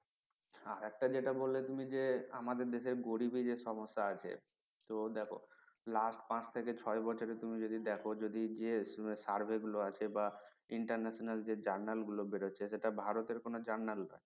আর একটা যেটা তুমি বললে যে আমাদের দেশের গরিবের যে সমস্যা আছে তো দেখো last পাঁচ থেকে ছয় বছর তুমি যদি দেখো যদি যে sarvey গুলো আছে বা international যে journal গুলো বেড়াচ্ছে সেটা ভারতের কোনো journal না